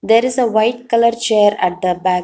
There is a white colour chair at the back.